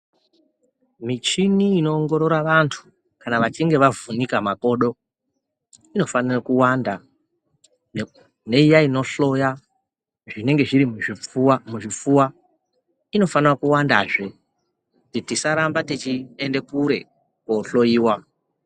Michini inoongorora vantu kana vachinge vavhunika makodo inofanira kuwanda neiya inohloya zvinenge zviri muzvipfuwa inofanira kuwanda zve kuti tisaramba teienda kure kuhloyiwa.